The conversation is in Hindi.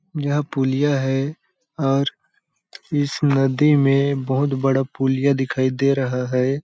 यह पुलिया है और इस नदी में बहोत बड़ा पुलिया दिखाई दे रहा हैं ।